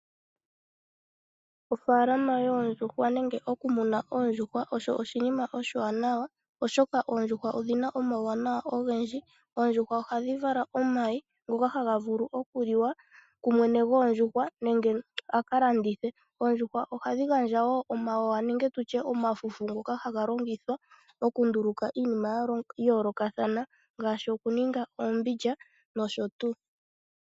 Ofaalama yoondjuhwa nenge oku muna oondjuhwa osho oshinima oshiwanawa oshoka oondjuhwa odhina omauwanawa ogendji. Oondjuhwa ohadhi vala omayi ngokahaga vulu oku liwa ku mwene goondjuhwa nenge aka landithe. Oondjuhwa ohadhi gandja wo omawawa nenge tutye omafufu ngoka haga longithwa oku nduluka iinima ya yoolokathana ngaashi oku ninga oombindja nosho tuu.